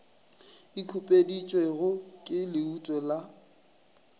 e khupeditšwego ke leuto la